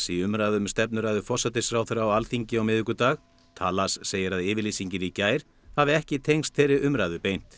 í umræðum um stefnuræðu forsætisráðherra á Alþingi á miðvikudag segir að yfirlýsingin í gær hafi ekki tengst þeirri umræðu beint